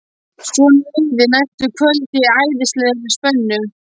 Svona liðu næstu kvöld í æðislegri spennu.